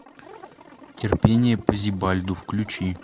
терпение по зибальду включи